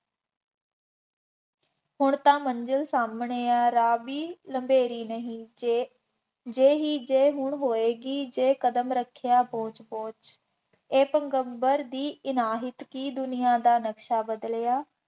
ਹੁਣ ਤਾਂ ਮੰਜ਼ਿਲ ਸਾਹਮਣੇ ਆ, ਰਾਹ ਵੀ ਲੰਮੇਰੀ ਨਹੀਂ, ਜੇ, ਜੇ ਹੀ ਜੇ ਹੁਣ ਹੋਏਗੀ ਜੇ ਕਦਮ ਰੱਖਿਆ ਪੋਚ ਪੋਚ, ਇਹ ਪੈਗੰਬਰ ਦੀ ਇਨਾਹਿਤ ਕੀ ਦੁਨੀਆ ਦਾ ਨਕਸ਼ਾ ਬਦਲਿਆ,